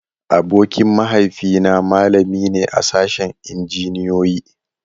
Abokin mahaifi na malami ne a sashen Injiniyoyi.